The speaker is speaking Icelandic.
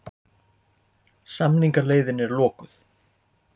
Samningaleiðin er lokuð